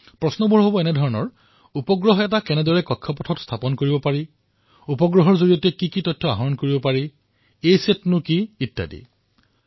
rocket উৎক্ষেপণৰ বাবে কি কি কৰিব লাগে উপগ্ৰহক কক্ষপথত কিদৰে অৱতৰণ কৰোৱা হয় আৰু উপগ্ৰহৰ পৰা আমি কি কি তথ্য পাব পাৰো এছেট কি এনেকুৱা বহু কথা